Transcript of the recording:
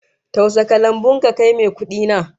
Tausa kalangun ka kai mai kudi na!